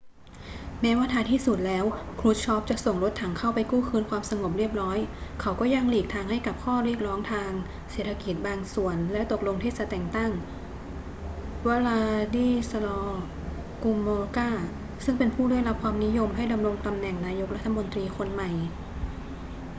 แม้ว่าท้ายที่สุดแล้ว krushchev จะส่งรถถังเข้าไปกู้คืนความสงบเรียบร้อย เขาก็ยังหลีกทางให้กับข้อเรียกร้องทางเศรษฐกิจบางส่วนและตกลงที่จะแต่งตั้ง wladyslaw gomulka ซึ่งเป็นผู้ได้รับความนิยมให้ดำรงตำแหน่งนายกรัฐมนตรีคนใหม่